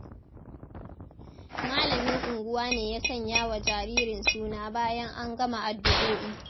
Malamin unguwa ne ya sanya wa jaririn suna bayan an gama addu’o’i.